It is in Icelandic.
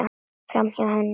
Framhjá henni.